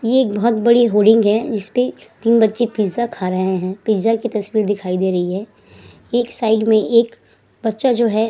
ये एक बहोत बड़ी होर्डिंग है जिसपे तीन बच्चे पिज्जा खा रहे हैं। पिज्जा की तस्वीर दिखाई दे रही है। एक साइड में एक बच्चा जो है --